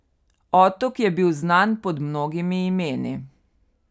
Otok je bil znan pod mnogimi imeni.